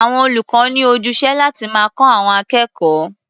Àwọn olùkọ́ ní ojúṣe láti máa kọ́ àwọn akẹ́kọ̀ó.